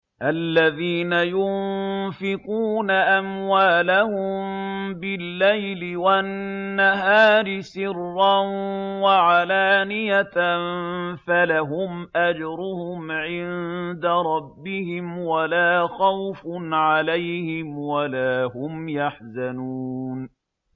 الَّذِينَ يُنفِقُونَ أَمْوَالَهُم بِاللَّيْلِ وَالنَّهَارِ سِرًّا وَعَلَانِيَةً فَلَهُمْ أَجْرُهُمْ عِندَ رَبِّهِمْ وَلَا خَوْفٌ عَلَيْهِمْ وَلَا هُمْ يَحْزَنُونَ